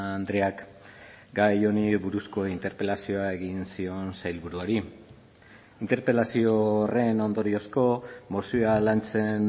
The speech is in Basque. andreak gai honi buruzko interpelazioa egin zion sailburuari interpelazio horren ondoriozko mozioa lantzen